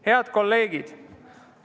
Head kolleegid!